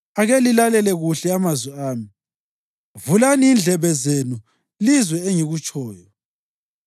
Ake lilalele kuhle amazwi ami; vulani indlebe zenu lizwe engikutshoyo.